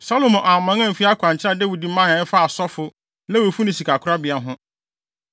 Salomo amman amfi akwankyerɛ a Dawid mae a ɛfa asɔfo, Lewifo ne sikakorabea ho.